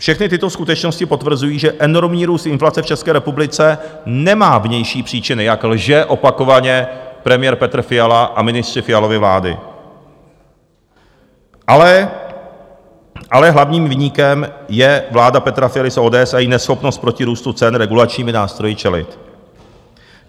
Všechny tyto skutečnosti potvrzují, že enormní růst inflace v České republice nemá vnější příčiny, jak lže opakovaně premiér Petr Fiala a ministři Fialovy vlády, ale hlavním viníkem je vláda Petra Fialy z ODS a její neschopnost proti růstu cen regulačními nástroji čelit.